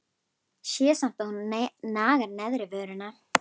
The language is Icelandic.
Sé samt að hún nagar neðri vörina.